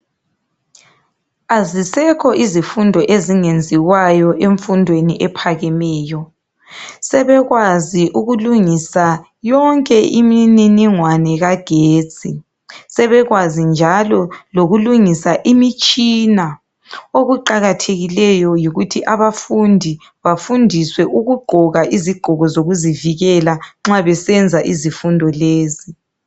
Azisekho izifundo ezingenziwayo emfundweni ephakemeyo sebekwazi ukulungisa yonke imininingwane kagetsi sebekwazi njalo lokulungisa imitshina okuqakathekileyo yikuthi abafundi bafundiswe ukugqoka izigqoko zokuzivikela nxa besenza izifundo lezi.